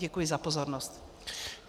Děkuji za pozornost.